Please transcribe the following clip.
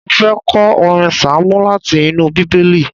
Mo fẹ́ kọ orin sáàmù láti inú Bíbélì